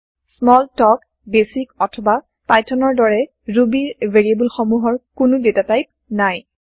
small talk BASIC অথবা Pythonৰ দৰে ৰুবী ৰ ভেৰিয়েব্ল সমূহৰ কোনো ডাটাটাইপ নাই